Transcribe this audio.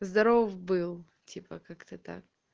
здоров был типа как-то так